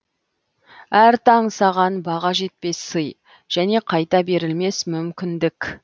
әр таң саған баға жетпес сый және қайта берілмес мүмкіндік